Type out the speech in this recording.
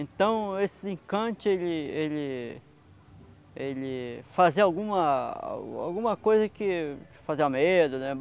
Então esse encante, ele el ele fazia alguma alguma coisa que fazia medo, né?